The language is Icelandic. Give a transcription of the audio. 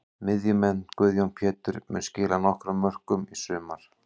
Miðjumenn: Guðjón Pétur mun skila nokkrum mörkum í sumar.